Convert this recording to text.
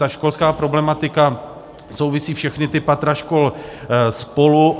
Ta školská problematika souvisí, všechna ta patra škol, spolu.